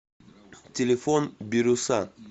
телефон бирюса